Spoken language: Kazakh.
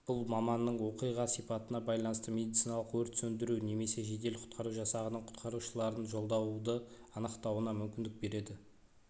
бұл маманның оқиға сипатына байланысты медициналық өрт сөндіру немесе жедел-құтқару жасағының құтқарушыларын жолдауды анықтауына мүмкіндік береді